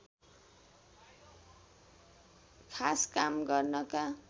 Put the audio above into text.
खास काम गर्नका